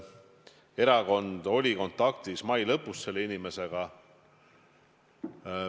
Erakond oli mai lõpus selle inimesega kontaktis.